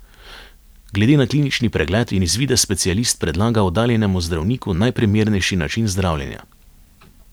Glede na klinični pregled in izvide specialist predlaga oddaljenemu zdravniku najprimernejši način zdravljenja.